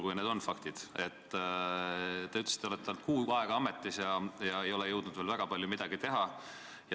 Te ütlesite, et te olete olnud kuu aega ametis ega ole jõudnud veel väga palju teha.